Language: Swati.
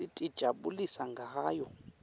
sitijabulisa ngayo